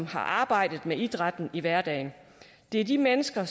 har arbejdet med idrætten i hverdagen det er de mennesker